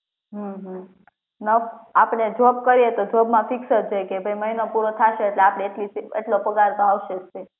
હમ્મ હમ્મ ન આપડે જોબ કરીએ તો જોબ માં ફિક્સ જ હોય કે ભાઈ મહિનો પૂરો થાશે એટલે આપડે એટલી એટલો પગાર તો આવશે જ fix